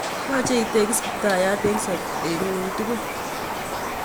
Yoche itekis kiptayat eng sobet nguk tugul